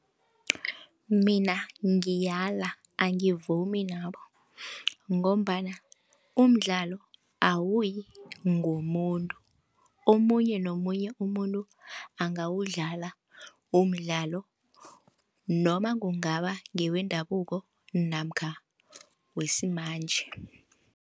Mina ngiyala, angivumi nabo ngombana umdlalo awuyi ngomuntu omunye nomunye umuntu angawudlala umdlalo noma kungaba ngewendabuko namkha wesimanje.